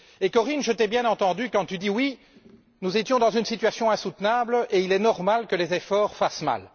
Corien, je t'ai bien entendue quand tu dis que nous étions dans une situation insoutenable et qu'il est normal que les efforts fassent mal.